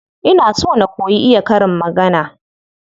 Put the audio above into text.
Ina so na koyi iya karin magana.